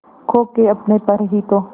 खो के अपने पर ही तो